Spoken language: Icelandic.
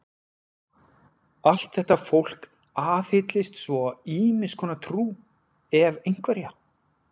Allt þetta fólk aðhyllist svo ýmiss konar trú, ef einhverja.